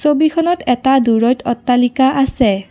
ছবিখনত এটা দূৰৈত অট্টালিকা আছে।